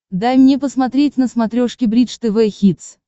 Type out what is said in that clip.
дай мне посмотреть на смотрешке бридж тв хитс